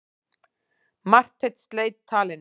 Marteinn sleit talinu.